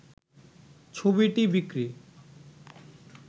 ছবিটি বিক্রি